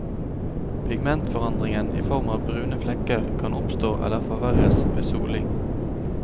Pigmentforandringen i form av brune flekker kan oppstå eller forverres ved soling.